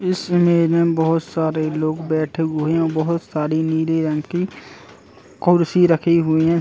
इस इमेज में बोहोत सारे लोग बैठे हुए हैं। बोहोत सारी नीले रंग की कुर्सी रखी हुई हैं।